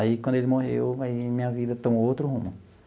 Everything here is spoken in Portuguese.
Aí, quando ele morreu, aí minha vida tomou outro rumo.